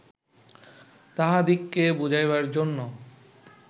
তাঁহাদিগকে বুঝাইবার জন্য